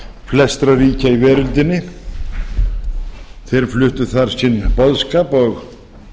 flestra ríkja í veröldinni þeir fluttu þar sinn boðskap og